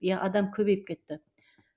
иә адам көбейіп кетті